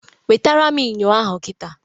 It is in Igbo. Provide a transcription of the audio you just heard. Wetara m Ịnyo ahụ kita